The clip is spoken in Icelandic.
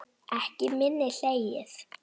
Ekki minna hlegið.